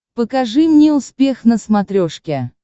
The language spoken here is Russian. покажи мне успех на смотрешке